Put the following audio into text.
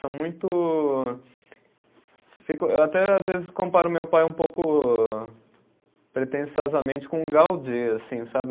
São muito fico, eu até, às vezes, comparo meu pai um pouco pretensiosamente com o Gaudí, assim, sabe?